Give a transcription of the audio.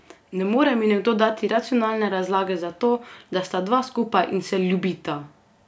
Ne more mi nekdo dati racionalne razlage za to, da sta dva skupaj in se ljubita!